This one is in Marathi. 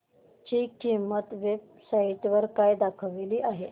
ची किंमत या वेब साइट वर काय दाखवली आहे